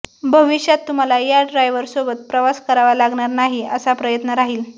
भविष्यात तुम्हाला या ड्रायव्हर सोबत प्रवास करावा लागणार नाही असा प्रयत्न राहील